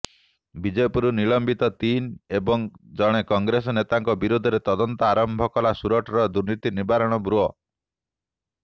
ବିଜେପିରୁ ନିଲମ୍ବିତ ତିନି ଏବଂ ଜଣେ କଂଗ୍ରେସ ନେତାଙ୍କ ବିରୋଧରେ ତଦନ୍ତ ଆରମ୍ଭ କଲା ସୁରଟର ଦୁର୍ନୀତି ନିବାରଣ ବ୍ୟୁରୋ